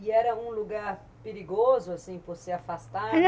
E era um lugar perigoso, assim, por se afastado?